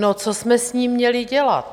No, co jsme s ním měli dělat?